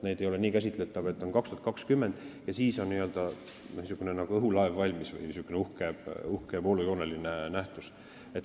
Need ei ole nii käsitletavad, et 2020 on n-ö õhulaev valmis, niisugune uhke ja voolujooneline nähtus.